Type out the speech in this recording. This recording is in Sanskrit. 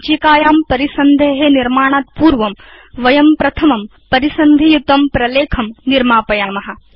सञ्चिकायां परिसन्धे निर्माणात् पूर्वं वयं प्रथमं परिसन्धियुतं प्रलेखं निर्मापयाम